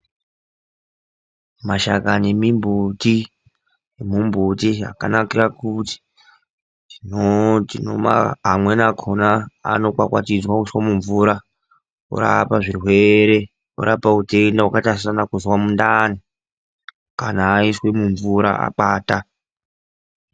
Mashakani emimbuti akanakira kuti amweni akhona anokwakwatidzwa kuisa mumvura orapa zvirwere, orapa utenda wakaita sekana kuzwa mundani kana aiswe mumvura akwata.